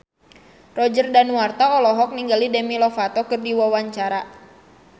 Roger Danuarta olohok ningali Demi Lovato keur diwawancara